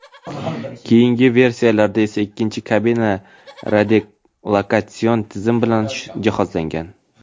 Keyingi versiyalarda esa ikkinchi kabina radiolokatsion tizim bilan jihozlangan.